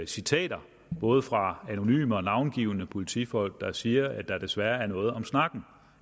citater både fra anonyme og navngivne politifolk der siger at der desværre er noget om snakken